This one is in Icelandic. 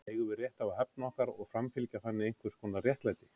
Eigum við rétt á að hefna okkar og framfylgja þannig einhvers konar réttlæti?